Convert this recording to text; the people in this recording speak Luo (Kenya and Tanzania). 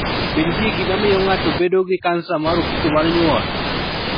Be nitie gima miyo ng'ato bedo gi kansa mar ofuko mar nyuol?